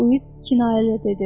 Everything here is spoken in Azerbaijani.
Uyid kinayəli dedi.